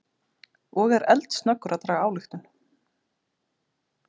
Og er eldsnöggur að draga ályktun.